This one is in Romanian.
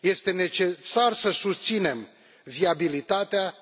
Este necesar să susținem viabilitatea